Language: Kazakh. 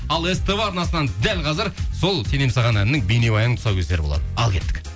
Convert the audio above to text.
ал ств арнасынан дәл қазір сол сенемін саған әнінің бейнебаянының тұсаукесері болады ал кеттік